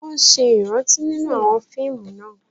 Wọ́n ṣe ìrántí nínú àwọn fíìmù náà